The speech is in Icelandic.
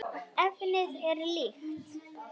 Efnið er líkt.